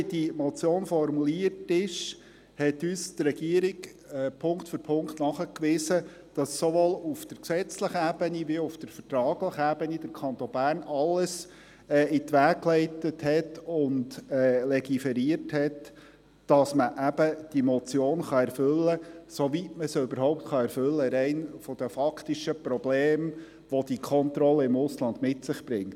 – So wie die Motion formuliert ist, hat uns die Regierung Punkt für Punkt nachgewiesen, dass sowohl auf gesetzlicher als auch auf vertraglicher Ebene der Kanton Bern alles in die Wege geleitet und legiferiert hat, damit man diese Motion erfüllen kann, soweit man sie überhaupt erfüllen kann, rein von den faktischen Problemen her, welche die Kontrollen im Ausland mit sich bringen.